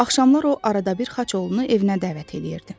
Axşamlar o arada bir xaç oğlunu evinə dəvət eləyirdi.